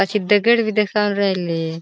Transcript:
पाछी दगड बी देखाई न रायले.